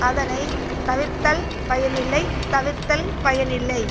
அதனை தவிர்த்தால் பயனில்லை தவிர்த்தால் பயனில்லை